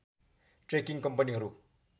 trekking कम्पनीहरू